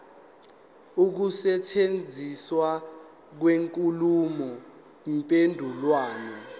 ukusetshenziswa kwenkulumo mpendulwano